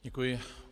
Děkuji.